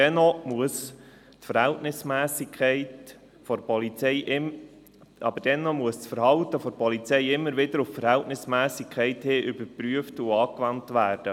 Dennoch muss das Verhalten der Polizei stets wieder auf die Verhältnismässigkeit geprüft und dies angewendet werden.